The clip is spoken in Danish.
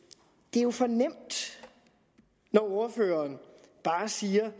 er jo for nemt når ordføreren bare siger